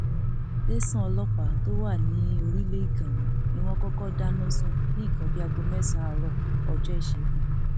tẹsán ọlọpàá tó wà ní orílẹ ìgànmù ni wọn kọkọ dáná sun ní nǹkan bíi aago mẹsànán àárọ ọjọ ìṣẹgun